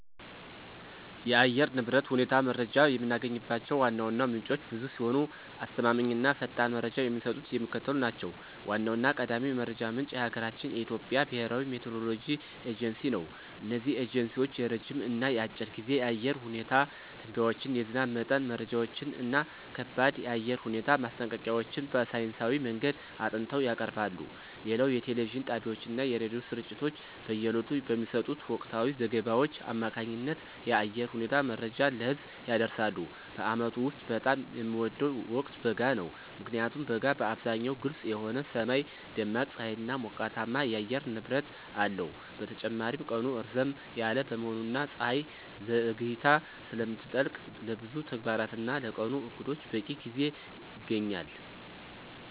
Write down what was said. የአየር ንብረት ሁኔታ መረጃን የምናገኝባቸው ዋና ዋና ምንጮች ብዙ ሲሆኑ፣ አስተማማኝ እና ፈጣን መረጃ የሚሰጡት የሚከተሉት ናቸው ዋናውና ቀዳሚው የመረጃ ምንጭ የሀገራችን የኢትዮጵያ ብሔራዊ የሚቲዎሮሎጂ ኤጀንሲ ነው። እነዚህ ኤጀንሲዎች የረጅም እና የአጭር ጊዜ የአየር ሁኔታ ትንበያዎችን፣ የዝናብ መጠን መረጃዎችን እና ከባድ የአየር ሁኔታ ማስጠንቀቂያዎችን በሳይንሳዊ መንገድ አጥንተው ያቀርባሉ። ሌላው የቴሌቪዥን ጣቢያዎችና የሬዲዮ ስርጭቶች በየዕለቱ በሚሰጡት ወቅታዊ ዘገባዎች አማካኝነት የአየር ሁኔታ መረጃን ለህዝብ ያደርሳሉ። በዓመቱ ውስጥ በጣም የምወደው ወቅት በጋ ነው። ምክንያቱም በጋ በአብዛኛው ግልጽ የሆነ ሰማይ፣ ደማቅ ፀሐይና ሞቃታማ የአየር ንብረት አለው። በተጨማሪም ቀኑ ረዘም ያለ በመሆኑና ፀሐይ ዘግይታ ስለምትጠልቅ፣ ለብዙ ተግባራትና ለቀኑ ዕቅዶች በቂ ጊዜ ይገኛል።